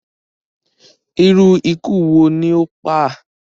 iru iku wo ni o pa a?